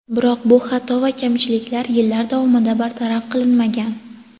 Biroq bu xato va kamchiliklar yillar davomida bartaraf qilinmagan.